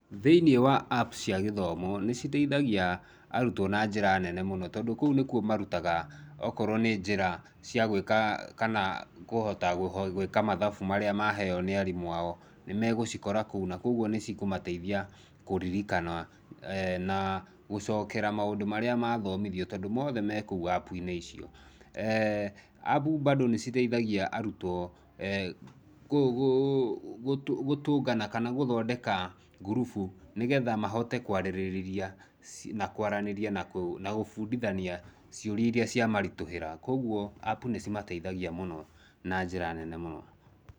Thĩinĩ wa app cia gĩthomo nĩciteithagia arutwo na njĩra nene mũno tondũ kou nĩkuo marutaga okorwo nĩ njĩra cia gwĩka kana kũhota gwĩka mathabu marĩa maheo nĩarimũ ao nĩmegũcikora kou na kũguo nĩcikũmateithia kũririkana na gũcokera maũndũ marĩa mathomithio tondũ mothe me kũu appu-inĩ icio. Appu bado nĩciteithagia arũtwo gũtũngana kana gũthondeka gũrũbu nĩgetha mahote kwarĩrĩria na kwaranĩria na gũbũndithania ciũria iria ciamaritũhĩra ũguo appu icio nĩcimateithagia mũno na njĩra nene mũno